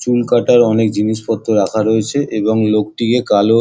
চুল কাটার অনেক জিনিসপত্র রাখা রয়েছে এবং লোকটিকে কালো--